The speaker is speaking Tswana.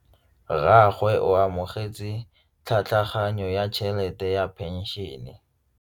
Rragwe o amogetse tlhatlhaganyô ya tšhelête ya phenšene.